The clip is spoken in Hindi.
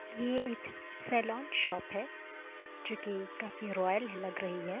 ये एक सेलॉन शॉप है। जो कि काफी रॉयल लग रही है।